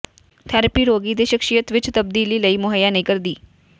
therapy ਰੋਗੀ ਦੇ ਸ਼ਖਸੀਅਤ ਵਿੱਚ ਤਬਦੀਲੀ ਲਈ ਮੁਹੱਈਆ ਨਹੀਂ ਕਰਦੀ